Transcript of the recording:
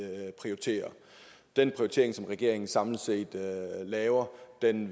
prioriterer den prioritering som regeringen samlet set laver